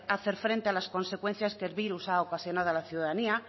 hacer frente a las consecuencias que el virus ha ocasionado a la ciudadanía